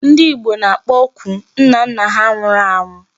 Ndị Igbo na-akpoku nnanna ha nwụrụ anwụ.